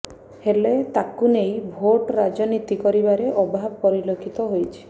ହେଲେ ତାକୁ ନେଇ ଭୋଟ୍ ରାଜନୀତି କରିବାରେ ଅଭାବ ପରିଲକ୍ଷିତ ହୋଇଛି